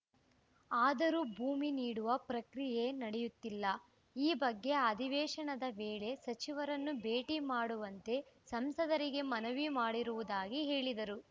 ಆದರೂ ಭೂಮಿ ನೀಡುವ ಪ್ರಕ್ರಿಯೆ ನಡೆಯುತ್ತಿಲ್ಲ ಈ ಬಗ್ಗೆ ಅಧಿವೇಶನದ ವೇಳೆ ಸಚಿವರನ್ನು ಭೇಟಿ ಮಾಡುವಂತೆ ಸಂಸದರಿಗೆ ಮನವಿ ಮಾಡಿರುವುದಾಗಿ ಹೇಳಿದರು